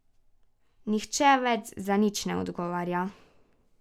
Nihče več za nič ne odgovarja.